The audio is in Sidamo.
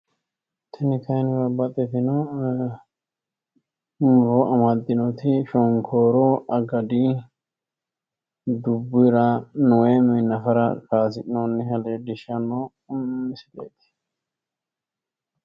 tini kayiinni babaxitino muro amaddinoti shonkooru agadi dubbira kayiisi'noonni misileeti.